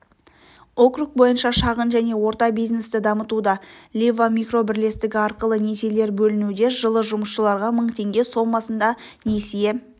округ бойынша шағын және орта бизнесті дамытуда лива микробірлестігі арқылы несиелер бөлінуде жылы жұмысшыларға мың теңге сомасында несие